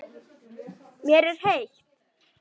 Mér er heitt.